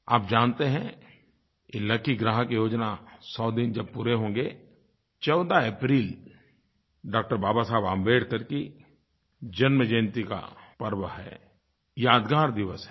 आप जानते हैं कि लकी ग्राहक योजना सौ दिन जब पूरे होंगे 14 अप्रैल डॉ बाबा साहेब अम्बेडकर की जन्मजयंती का पर्व है यादगार दिवस है